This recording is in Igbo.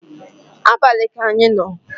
abali ka anyị no